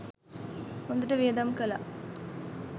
හොඳට වියදම් කළා.